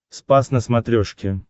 спас на смотрешке